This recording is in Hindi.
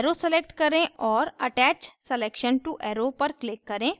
arrow select करें और attach selection to arrow पर click करें